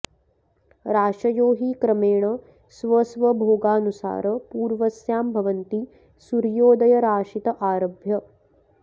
राशयो हि क्रमेण स्वस्वभोगानुसार पूर्वस्यां भवन्ति सूर्योदयराशित आरभ्य